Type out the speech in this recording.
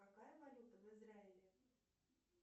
какая валюта в израиле